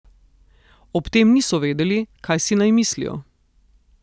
Ob tem niso vedeli, kaj si naj mislijo.